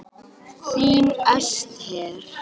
Þín Esther.